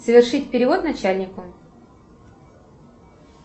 совершить перевод начальнику